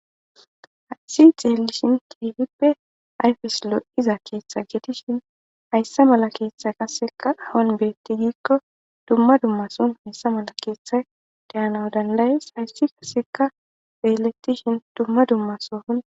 hayssi xeelishin keefippe ayfis lo7iza keeththa geetishin haysse mala keeththa qaseka hon beetti giikko dumma dummason hayssa mala keeththa dayanaw dandayees hayssi kaseka beelettishin dumma dummasohon.